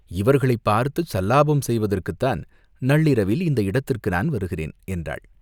இவர்களைப் பார்த்துச் சல்லாபம் செய்வதற்குத்தான் நள்ளிரவில் இந்த இடத்துக்கு நான் வருகிறேன்," என்றாள்.